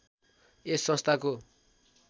यस संस्थाको